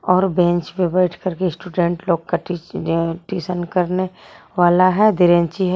और बेंच पर बैठकर के स्टूडेंट लोग का टी ट्यूशन करने वाला है धीरेंची है।